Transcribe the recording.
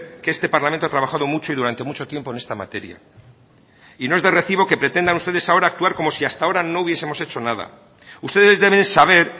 que este parlamento ha trabajado mucho y durante mucho tiempo en esta materia y no es de recibo que pretendan ustedes ahora como si hasta ahora no hubiesemos hecho nada ustedes deben saber